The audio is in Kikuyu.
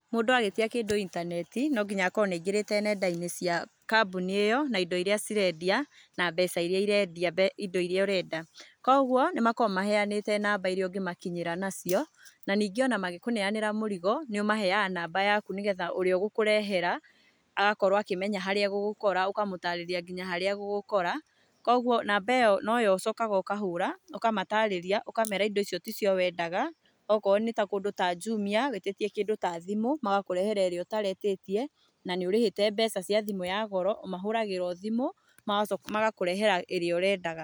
Mũndũ agĩtia kĩndu intaneti nonginya akorwo nĩaingĩrĩte nendainĩ cia kambunĩ ĩyo na indo irĩa cirendia na mbeca irĩa irendea indo irĩa ũrenda, kwoguo nĩakoragwo mahenĩte namba iria ũngĩmakinyĩra nacio na ningĩ ũgĩkinĩanĩra mũrigo nomeheaga namba yaku nĩgetha ũrea ũgũkũrehera ũgagĩkorwo ũkĩmenya harĩa egũgũkora ũkamũtarĩria nginya harĩa egũgũkora, kwoguo namba ĩyo noyo ũcokaga ũkahũra, ũkamatarĩria, ũkamera indo icio tĩcio wendaga okorwo nĩ kũndũ ta Jumia wĩtĩtie kĩndũ ta thimũ magakũrehere ĩrĩa ũtaretĩtie na nĩũrĩhĩte mbeca cia thimũ ya goro, ũmahúũagĩra thimũ magakũehera ĩrĩa wendaga.